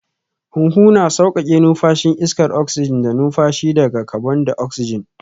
Huhu na sauƙaƙe numfashin iskar oksijin da numfashi daga kabon daoksijin